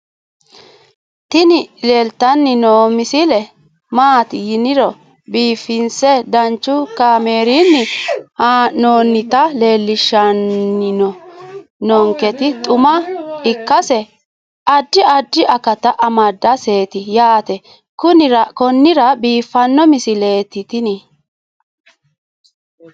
tini leeltanni noo misile maaati yiniro biifinse danchu kaamerinni haa'noonnita leellishshanni nonketi xuma ikkase addi addi akata amadaseeti yaate konnira biiffanno misileeti tini